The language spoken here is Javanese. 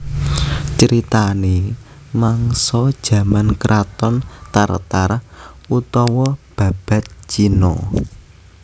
Critanè mangsa jaman kraton Tar Tar utawa Babad Cina